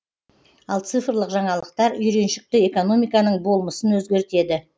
ал цифрлық жаңалықтар үйреншікті экономиканың болмысын өзгертеді